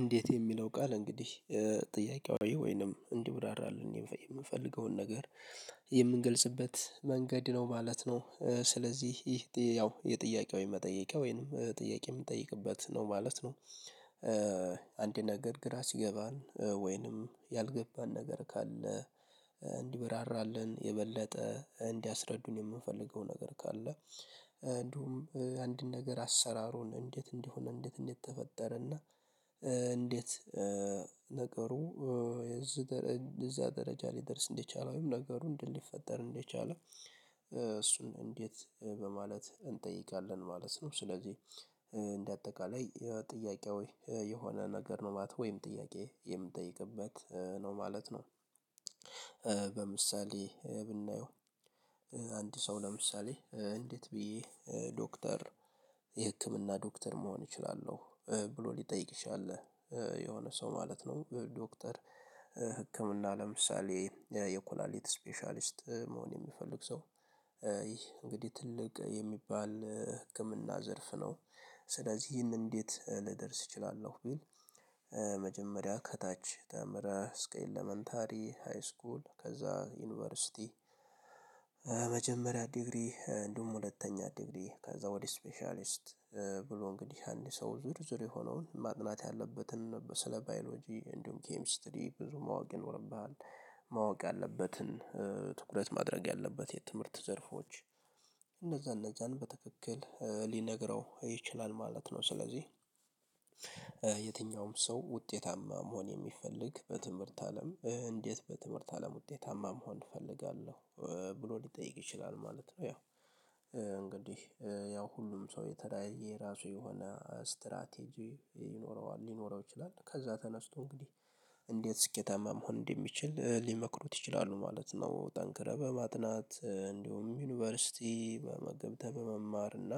እንዴት የሚለው ቃል እንግዲህ ጥያቄያዊ ወይንም እንዲሁ ዳራ አለ የምፈልገውን ነገር የምንገልጽበት መንገድ ነው ማለት ነው። ስለዚህ ይህ ያው የጥያቄው የመጠየቂያ ወይንም ጥያቄ የምንጠይቅበት ነው ማለት ነው። አንድ ነገር ግራ ሲገባን ወይንም ያልገባን ነገር ካለ። እንዲበራራልን የበለጠ እንዲያስረዱን የምንፈልገው ነገር ካለ እንዲሁም አንድን ነገር አሰራሩን እንዴት እንዲሆን እንዴት እንዴት ተፈጠረና እንዴት ነገሩ የዚህ እዚያ ደረጃ ሊደርስ እንደቻለ ወይም ነገሩን እንዴት ሊፈጠር እንደቻለ እሱን እንዴት በማለት እንጠይቃለን ማለት ነው። ስለዚህ እንደ አጠቃላይ ጥያቄአዊ የሆነ ነገር ነው ማለት ወይም ጥያቄ የምጠይቅበት ነው ማለት ነው። በምሳሌ ብናየው አንድ ሰው ለምሳሌ እንዴት ብዬ ዶክተር የህክምና ዶክተር መሆን እችላለሁ ብሎ ሊጠይቅሽ ያለ የሆነ ሰው ማለት ነው። ዶክተር ህክምና ለምሳሌ የኩላሊት ስፔሻሊስት መሆን የሚፈልግ ሰው ይህ እንግዲህ ትልቅ የሚባል ህክምና ዘርፍ ነው። ስለዚህ ይህን እንዴት ልደርስ እችላለሁ ቢል። መጀመሪያ ከታች ተምረህ እስከ ሃይስኩል ከዛ ዩኒቨርሲቲ መጀመሪያ ዲግሪ እንደውም ሁለተኛ ዲግሪ ከዛ ወደ ስፔሻሊስት ብሎ እንግዲህ አንድ ሰው ዝርዝር የሆነውን ማቅናት ያለበትን ስለ ባዮሎጂ እንዲሁም ኬሚስትሪ ብዙ ማወቅ ይኖርብሃል። ማወቅ ያለበትን ትኩረት ማድረግ ያለበት የትምህርት ዘርፎች እነዛ እነዛን በትክክል ሊነግረው ይችላል ማለት ነው። ስለዚህ የትኛውም ሰው ውጤታማ መሆን የሚፈልግ በትምህርት አለም እንዴት በትምህርት አለም ውጤታማ መሆን እፈልጋለሁ ብሎ ሊጠይቅ ይችላል ማለት ነው። ያው ያው ሁሉም ሰው የተለያየየ የራሱ የሆነ ስትራቴጂ ይኖረዋል ሊኖረው ይችላል ከዛ ተነስቶ እንግዲህ እንዴት ስኬታማ መሆን እንደሚችል ሊመክሩት ይችላሉ ማለት ነው። ጠንክረህ በማጥናት እንዲሁም ዩኒቨርሲቲ በመገብተህ በመማር እና